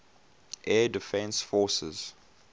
air defense forces